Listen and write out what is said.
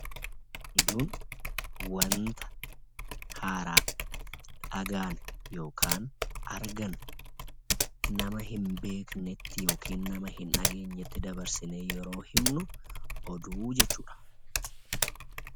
Oduun wanta haaraa argannu yookiin dhageenyu nama hin beekne yookiin hin dhageenyetti dabarsinee himnu jechuudha.